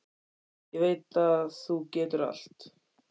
Ég veit að þú getur allt.